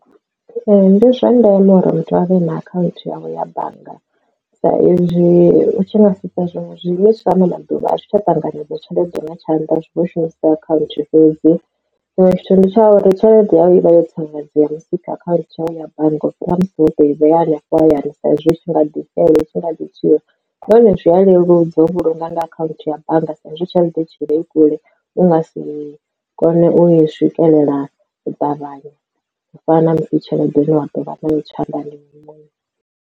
Ee ndi zwa ndeme uri muthu avhe na akhanthu yawe ya bannga sa izwi u tshi nga sedza zwinwe zwiimiswa ano maḓuvha a zwi tsha ṱanganedzaho tshelede nga tshanḓa zwi vho shumisa account fhedzi tshiṅwe tshithu ndi tsha uri tshelede yau i vha yo tsireledze musi ikha account yau ya bannga u fhira musi wo to i vhea hayani sa izwi itshi nga ḓi xela itshi nga ḓi tswiwa nahone zwi a leluwa u vhulunga nga akhaunthu ya bannga sa ezwi tshelede itshi vha i kule u nga si kone u swikelela u ṱavhanya u fana na musi tshelede ine wa ḓovha nayo tshanḓani iwe muṋe.